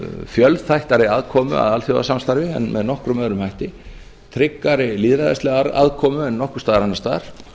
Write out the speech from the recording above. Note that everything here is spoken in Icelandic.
fjölþættari aðkomu að alþjóðasamstarfi en með nokkrum öðrum hætti tryggari lýðræðislega aðkomu en nokkurs staðar annars staðar